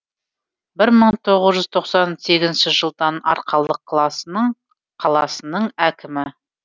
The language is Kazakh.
бір мың тоғыз жүз тоқсан сегізінші жылдан арқалық қаласының әкімі